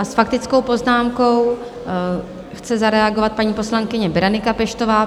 A s faktickou poznámkou chce zareagovat paní poslankyně Berenika Peštová.